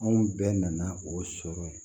Anw bɛɛ nana o sɔrɔ yen